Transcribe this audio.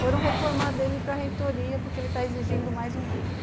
Foram reclamar dele para reitoria porque ele tá exigindo mais um livro.